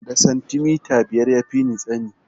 Da santimita biyar ya fini tsani